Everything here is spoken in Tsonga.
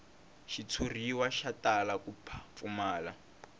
xitshuriwa xi tala ku pfumala